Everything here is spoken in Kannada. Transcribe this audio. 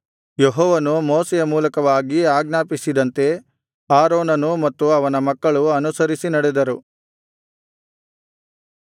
ಯೆಹೋವನು ಮೋಶೆಯ ಮೂಲಕವಾಗಿ ಆಜ್ಞಾಪಿಸಿದಂತೆ ಆರೋನನೂ ಮತ್ತು ಅವನ ಮಕ್ಕಳೂ ಅನುಸರಿಸಿ ನಡೆದರು